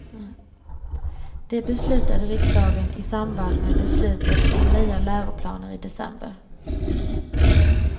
Det beslutade riksdagen i samband med beslutet om nya läroplaner i december.